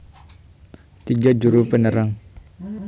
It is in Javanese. Tiga Juru penerang